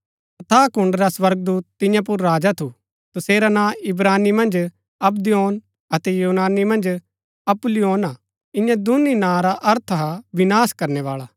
अथाह कुण्ड़ रा स्वर्गदूत तियां पुर राजा थू तसेरा नां इब्रानी मन्ज अबद्दोन अतै यूनानी मन्ज अपुल्लयोन हा इन्या दूनी नां रा अर्थ हा विनाश करणै बाळा